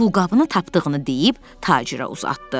Pulqabını tapdığını deyib tacirə uzatdı.